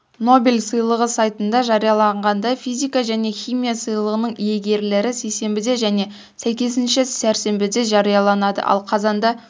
нобель сыйлығы сайтында жарияланғандай физика және химия сыйлығының иегерлері сейсенбіде және сәйкесінше сәрсенбіде жарияланады ал қазанда